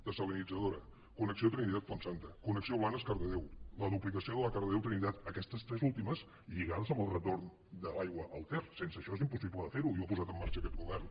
dessalinitzadora connexió trinitat fontsanta connexió blanes cardedeu la duplicació de la cardedeu trinitat aquestes tres últimes lligades amb al retorn de l’aigua al ter sense això és impossible de fer ho i ho ha posat en marxa aquest govern